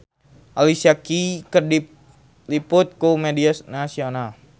Alicia Keys diliput ku media nasional